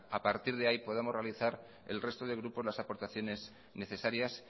a partir de ahí podamos realizar el resto de grupos las aportaciones necesarias